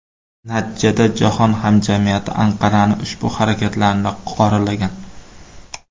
Natijada jahon hamjamiyati Anqaraning ushbu harakatlarini qoralagan.